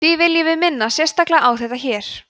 því viljum við minna sérstaklega á þetta hér